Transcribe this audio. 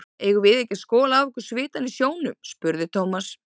Eigum við ekki að skola af okkur svitann í sjónum? spurði Thomas.